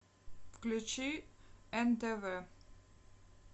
включи нтв